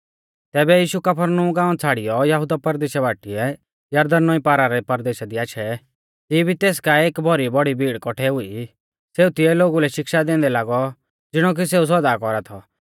तैबै यीशु कफरनहूम गाँवा छ़ाड़ियौ यहुदा परदेशा बाटीऐ यरदन नौईं पारा रै परदेशा दी आशै तिऐ भी तेस काऐ एक भौरी भीड़ कौठै हुई सेऊ तिऐ लोगु लै शिक्षा दैंदै लागौ ज़िणौ कि सेऊ सौदा कौरा थौ